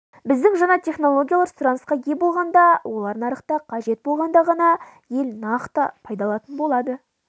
біздің жаңа технологиялар сұранысқа ие болғанда олар нарықта қажет болғанда ғана ел нақты пайда алатын болады